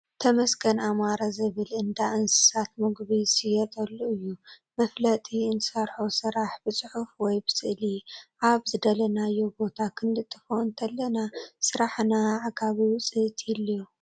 ተመስገን ኣመረ ዝብል እንዳ አንስሳት ምግቢ ዝሽየጠሉ እዩ። መፋለጢ እንሰርሖ ስራሕ ብፅሑፍ ወይ ብስእሊ ኣብዝደለናዮ ቦታ ክንልጥፎ እንተለና ስራሕና ኣዕጋቢ ውፅኢት ይህልዎ።